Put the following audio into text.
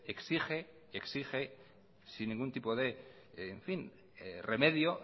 exigen sin ningún tipo de remedio